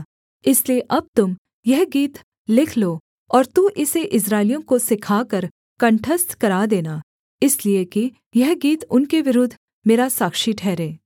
इसलिए अब तुम यह गीत लिख लो और तू इसे इस्राएलियों को सिखाकर कंठस्थ करा देना इसलिए कि यह गीत उनके विरुद्ध मेरा साक्षी ठहरे